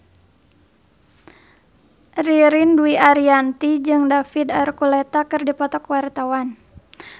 Ririn Dwi Ariyanti jeung David Archuletta keur dipoto ku wartawan